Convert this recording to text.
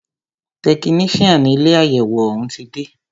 Tẹkinician ilé àyẹwò òún ti dé.